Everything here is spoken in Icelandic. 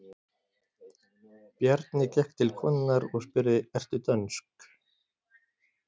Bjarni gekk til konunnar og spurði:-Ertu dönsk?